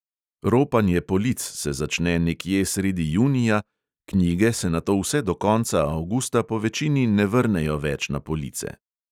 "Ropanje" polic se začne nekje sredi junija, knjige se nato vse do konca avgusta povečini ne vrnejo več na police.